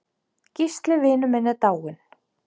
Gísli vinur minn er dáinn.